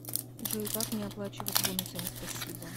джой как мне оплачивать бонусами спасибо